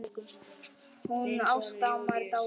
Hún Ásta amma er dáin.